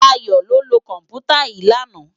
Dayo ló lö kòmpútá yi làná